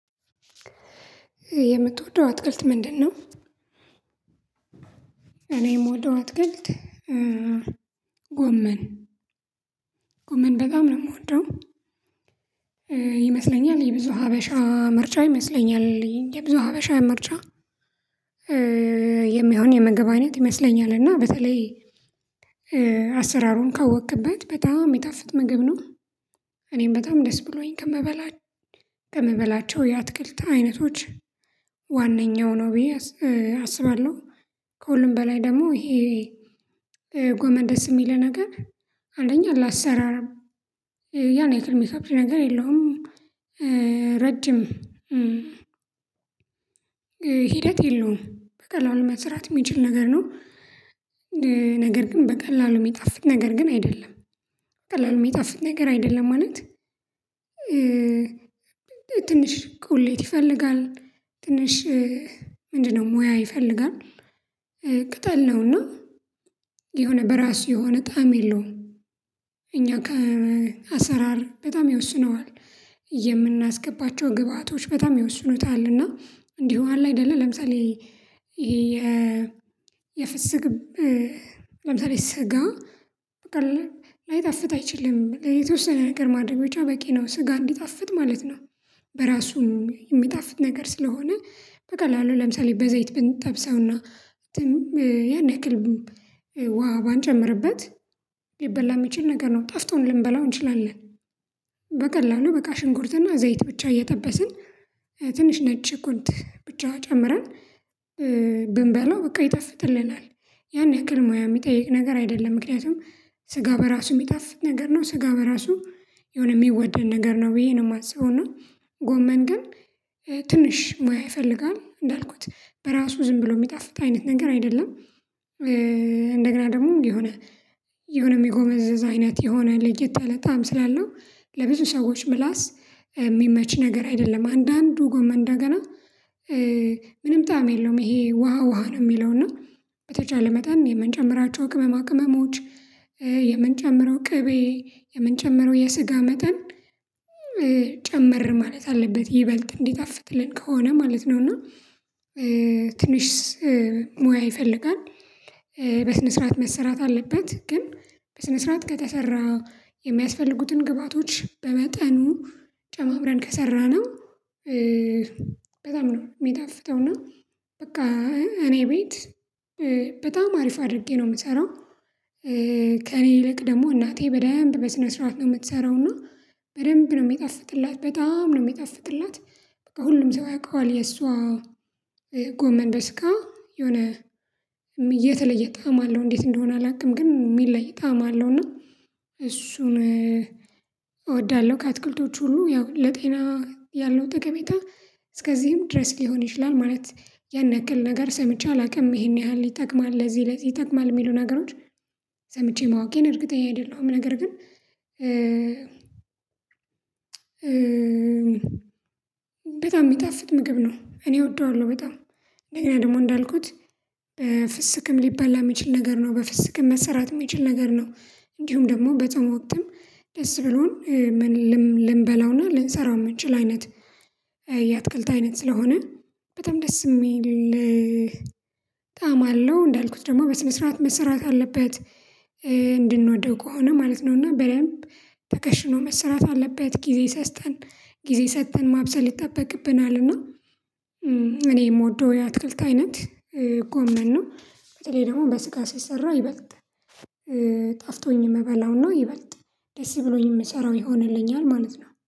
የምትወደው አትክልት ምንድን ነው? እኔም ምወደው አትክልት ጎመን ጎመን በጣም ነው የምወደው። ይመስለኛል የብዙ ሀበሻ ምርጫ ይመስለኛል የብዙ ሀበሻ ምርጫ። የምግብ አነት ይመስለኛል እና በተላይ አሰራሩን ካወቅክበት በጣም የሚጣፍጥ ምግብ ነው። እኔም በጣም ደስ ብሎኝ ከምበላቸው የአትክልት አይነቶች ዋነኛው ነው ብዬ አስባለሁ። ከሁሉም በላይ ደግሞ ይሄ ጎመን ደስ የሚልህ ነገር አንደኛ ለአሰራርም ያን ያህል ሚከብድ ነገር የለውም ረጅም ሂደት የለውም በቀላሉ መስራት የሚችል ነገር ነው። ነገር ግን በቀላሉ የሚጣፍጥ ነገር ግን አይደለም በቀላሉ የሚጠፍጥ ነገር አይደለም ማለት። ትንሽ ቁሌት ይፈልጋል ትንሽ ምንድነው ሙያ ይፈልጋል። ቅጠል ነውና የሆነ በራሱ የሆነ ጣዕም የለውም። እኛ ከአሰራር በጣም ይወስነዋል የምናስገባቸው ግብአቶች በጣም ይወስኑታል። እና እንዲሁ አለ አይደለ ለምሳሌ የ የፍስክ ለምሳሌ ስጋ በቃ ላይጣፍጥ አይችልም የተወሰነ ነገር ማድረግ ብቻ በቂ ነው ስጋ እንዲጣፍጥ ማለት ነው። በራሱም የሚጣፍጥ ነገር ስለሆነ በቀላሉ ለምሳሌ በዘይት ብንጠብሰውና ያን ያክልም ውሃ ባንጨምርበት ሊበላ የሚችል ነገር ነው ጣፍጦን ልንበላው እንችላለን። በቀላሉ በቃ ሽንኩርትና ዘይት ብቻ እየጠበስን ትንሽ ነጭ ሽንኩርት ብቻ ጨምረን ብንበላው በቃ ይጣፍጥልናል ያን ያክል ሙያ የሚጠይቅ ነገር አይደለም። ምክንያቱም ስጋ በራሱ የሚጣፍጥ ነገር ነው ስጋ በራሱ የሆነ የሚወደድ ነገር ነው ብዬ ነው የማስበው። እና ጎመን ግን ትንሽ ሙያ ይፈልጋል እንዳልኩት በራሱ ዝም ብሎ የሚጣፍጥ አይነት ነገር አይደለም። እንደገና ደግሞ የሆነ የሆነ የሚጎመዝዝ አይነት የሆነ ለየት ያለ ጣዕም ስላለው ለብዙ ሰዎች ምላስ የሚመች ነገር አይደለም። አንዳንዱ ጎመን እንደገና ምንም ጣዕም የለውም ይሄ ውሃ ውሃ ነው የሚለው እና። በተቻለ መጠን የምንጨምራቸው ቅመማ ቅመሞች የምንጨምረው ቅቤ የምንጨምረው የስጋ መጠን ጨመር ማለት አለበት ይበልጥ እንዲጣፍጥልን ከሆነ ማለት ነው። እና ትንሽ ሙያ ይፈልጋል በስነ ስርዓት መሰራት አለበት ግን በስነ ስርዓት ከተሰራ የሚያስፈልጉትን ግብአቶች በመጠኑ ጨማምረን ከሰራነው በጣም ነው የሚጣፍጠውና። በቃ እኔ ቤት በጣም አሪፍ አድርጌ ነው የምሰራው። ከእኔ ይልቅ ደግሞ እናቴ በደንብ በስነ ስርዓት ነው የምትሰራው እና በደንብ ነው የሚጣፍጥላት በጣም ነው የሚጣፍጥላት በቃ ሁሉም ሰው ያውቀዋል የሷ ጎመን በስጋ የሆነ የተለየ ጣዕም አለው እንዴት እንደሆነ አላውቅም ግን የሚለይ ጣዕም አለው። እና እሱን እወዳለሁ ከአትክልቶቹ ሁሉ ያው ለጤና ያለው ጠቀሜታ እስከዚህም ድረስ ሊሆን ይችላል ማለት ያን ያክል ነገር ሰምቼ አላውቅም ይሄን ያህል ይጠቅማል ለዚህ ለዚህ ይጠቅማል የሚሉ ነገሮች ሰምቼ ማወቄን እርግጠኛ አይደለሁም። ነገር ግን በጣም የሚጣፍጥ ምግብ ነው እኔ እወደዋለሁ። በጣም እንደገና ደግሞ እንዳልኩት ፍስክም ሊበላ የሚችል ነገር ነው። በፍስክም መሰራት የሚችል ነገር ነው። እንዲሁም ደግሞ በጾም ወቅትም ደስ ብሎን ምን ልንበላውና ልንሰራው የምንችል አይነት የአትክልት አይነት ስለሆነ በጣም ደስ የሚል ጣዕም አለው። እንዳልኩት ደግሞ በስነ ስርዓት መሰራት አለበት እንድንወደው ከሆነ ማለት ነው እና በደንብ ተከሽኖ መሰራት አለበት ጊዜ ሰስተን ጊዜ ሰጥተን ማብሰል ይጠበቅብናል። እና እኔ የምወደው የአትክልት አይነት ጎመን ነው። በተለይ ደግሞ በስጋ ሲሰራ ይበልጥ ጣፍጦኝ የምበላውና ይበልጥ ደስ ብሎኝ የምሰራው ይሆንልኛል ማለት ነው